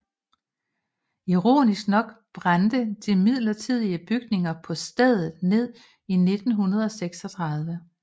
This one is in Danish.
Ironisk nok brændte de midlertidige bygninger på stedet ned i 1936